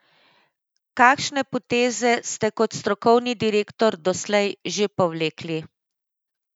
Kakšne poteze ste kot strokovni direktor doslej že povlekli?